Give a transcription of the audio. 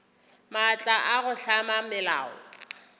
maatla a go hlama melao